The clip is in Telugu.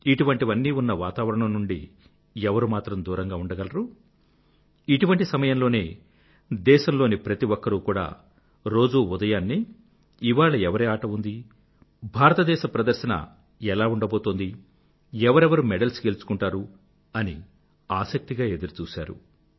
ఇటువంటివన్నీ ఉన్న వాతావరణం నుండి ఎవరు మాత్రం దూరంగా ఉండగలరు ఇటువంటి సమయంలోనే దేశంలోని ప్రతి ఒక్కరూ కూడా రోజూ ఉదయాన్నే ఇవాళ ఎవరి ఆట ఉందీ భారతదేశం ప్రదర్శన ఎలా ఉండబోతోంది ఎవరెవరు మెడల్స్ గెలుచుకుంటారు అని ఆసక్తిగా ఎదురుచూశారు